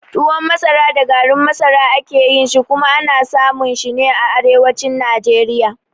Tuwon masara da garin masara a ke yin shi, kuma ana samun shi ne a arewacin Najeriya.